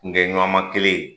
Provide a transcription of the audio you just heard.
Kunkɛɲɔgɔnma kelen